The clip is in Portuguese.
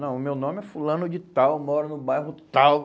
Não, o meu nome é fulano de tal, moro no bairro tal.